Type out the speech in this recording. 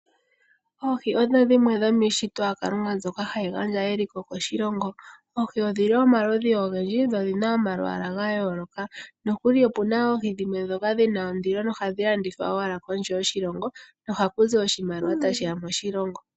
Oohi odho dhimwe dhomiishitwa yaKalunga mbyoka hayi gandja eliko koshilongo. Oohi odhili omaludhi ogendji dho odhina oma lwaala gayooloka, nokuli opuna oohi dhimwe dhoka dhina ondilo nohadhi landithwa owala kondje yoshilongo nohakuzi oshimaliwa tashiya moshilongo.